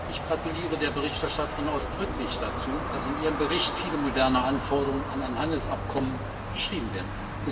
Ich gratuliere der Berichterstatterin ausdrücklich dazu, dass in ihrem Bericht viele moderne Anforderungen an ein Handelsabkommen beschrieben werden.